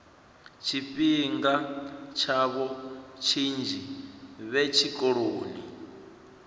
tshifhinga tshavho tshinzhi vhe tshikoloni